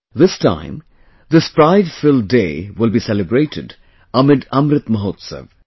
This time this pride filled day will be celebrated amid Amrit Mahotsav